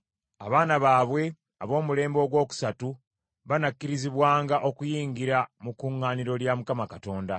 Abaana baabwe ab’omulembe ogwokusatu banaakkirizibwanga okuyingira mu kuŋŋaaniro lya Mukama Katonda.